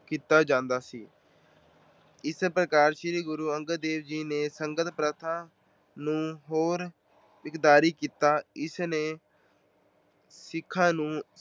ਕੀਤਾ ਜਾਂਦਾ ਸੀ। ਇਸ ਪ੍ਰਕਾਰ ਸ਼੍ਰੀ ਗੁਰੂ ਅੰਗਦ ਦੇਵ ਜੀ ਨੇ ਸੰਗਤ ਪ੍ਰਥਾ ਨੂੰ ਹੋਰ ਕੀਤਾ। ਇਸ ਨੇ ਸਿੱਖਾਂ ਨੂੰ